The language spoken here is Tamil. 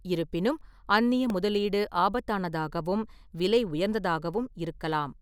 இருப்பினும் அந்நிய முதலீடு ஆபத்தானதாகவும், விலை உயர்ந்ததாகவும் இருக்கலாம்.